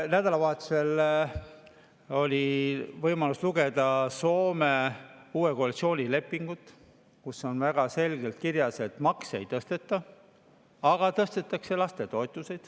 Nädalavahetusel oli võimalus lugeda Soome uut koalitsioonilepingut, kus on väga selgelt kirjas, et makse ei tõsteta, aga tõstetakse lastetoetusi.